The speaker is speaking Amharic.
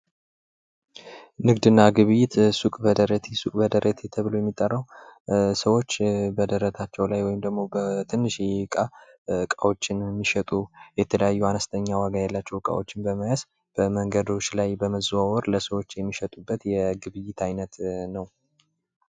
ንግድና ግብይት ሱቅ በደረቴ ፡-ሱቅ በደረቴ ተብሎ የሚጠራው ሰዎች በደረታቸው ላይ ወይም ደሞ በትንሽዬ ዕቃ እቃዎችን የሚሸጡ የተለያዩ አነስተኛ ዋጋ ያላቸው ዕቃዎችን በመያዝ በመንገዶች ላይ በመዘዋወር ለሰዎች የሚሸጡ የግብይት አይነት ነው።